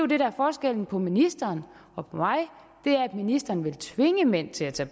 det der er forskellen på ministeren og mig er at ministeren vil tvinge mænd til at tage